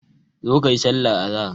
Zo kayi sallar azahar.